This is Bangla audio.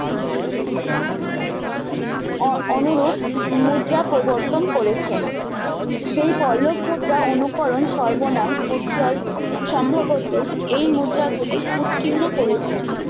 ও অনুরূপ মুদ্রা প্রবতন করেছেন সেই পল্লব মুদ্রা অনুকরণ সর্বনাম উজ্জল সম্ভবত এই মুদ্রা গুলির উৎকীর্ণ করেছেন